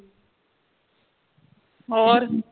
ਹੋਰ